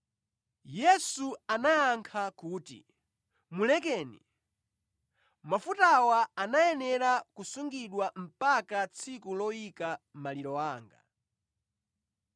Yesu anayankha kuti, “Mulekeni. Mafutawa anayenera kusungidwa mpaka tsiku loyika maliro anga.